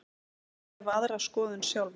Ég hef aðra skoðun sjálfur.